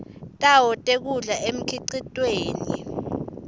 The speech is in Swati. tawo tekudla emkhicitweni